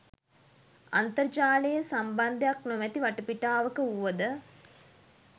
අන්තර්ජාලයේ සම්බන්ධයක් නොමැති වටපිටාවක වුවද